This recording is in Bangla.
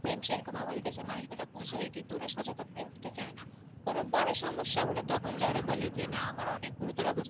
মানুষ গুলো বুঝে ওরা সচেতন হবে ওরা বুঝতে চাই না কোনো বড়ো সমস্যা হলে তখন যে ওরা বলে না আমার অনেক গুরুতর অবস্থা